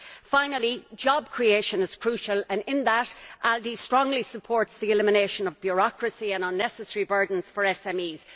Finally, job creation is crucial, and in that, ALDE strongly supports the elimination of bureaucracy and unnecessary burdens for SMEs.